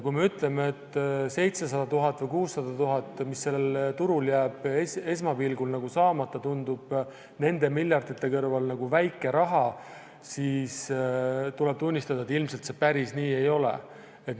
Kui me ütleme, et 700 000 või 600 000, mis jääb sellel turul esmapilgul nagu saamata, tundub nende miljardite kõrval väike raha, siis tuleb tunnistada, et päris nii see ilmselt ei ole.